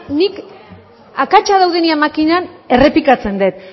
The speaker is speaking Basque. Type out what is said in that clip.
nik akatsa daudenean makinan errepikatzen dut